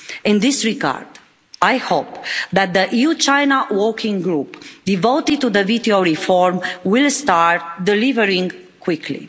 In this regard, I hope that the EU-China Working Group devoted to WTO reform will start delivering quickly.